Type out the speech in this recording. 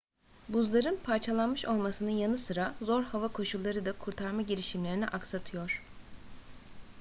buzların parçalanmış olmasının yanı sıra zor hava koşulları da kurtarma girişimlerini aksatıyor